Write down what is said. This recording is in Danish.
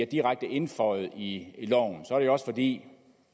direkte indføjet i loven er det jo også fordi